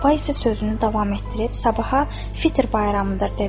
Səbah isə sözünü davam etdirib, sabaha Fitr bayramıdır dedi.